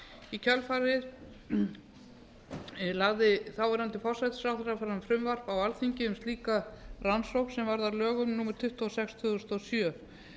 í kjölfarið lagði þáverandi forsætisráðherra fram frumvarp á alþingi um slíka rannsókn sem varð að lögum númer tuttugu og sex tvö þúsund og sjö